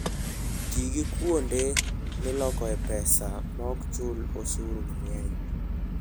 Ti gi kuonde milokoe pesa maok chul osuru mang'eny.